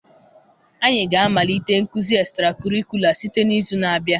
Anyị ga-amalite nkuzi estrakọrikụla site n'izu na-abịa.